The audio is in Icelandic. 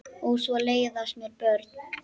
Og svo leiðast mér börn.